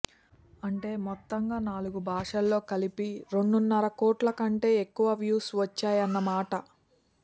అంటే మొత్తంగా నాలుగు భాషల్లో కలిపి రెండున్నర కోట్ల కంటే ఎక్కువ వ్యూస్ వచ్చాయన్నమాట